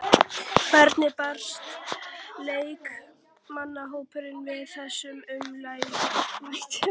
Hvernig brást leikmannahópurinn við þessum ummælum?